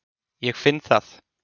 Ég finn það.